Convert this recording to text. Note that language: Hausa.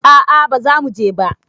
A'a bazamu je ba